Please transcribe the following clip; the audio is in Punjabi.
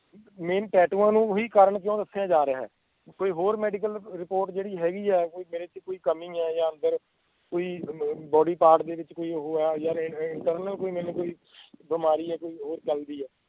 main ਟੈਟੂਆਂ ਨੂੰ ਹੀ ਕਾਰਨ ਕਿਉਂ ਰੱਖਿਆ ਜਾ ਰਿਹਾ ਆ ਕੋਈ ਹੋਰ medical report ਜਿਹੜੀ ਹੈਗੀ ਆ ਮੇਰੇ ਚ ਕੋਈ ਕਮੀ ਹੈ ਜਾਂ ਅੰਦਰ ਕੋਈ bodypart ਦੇ ਵਿਚ ਕੋਈ ਉਹ ਆ ਜਾਂ internal ਕੋਈ ਮੈਂਨੂੰ ਕੋਈ ਬਿਮਾਰੀ ਹੈ ਕੋਈ ਹੋਰ ਗੱਲ ਦੀ ਐ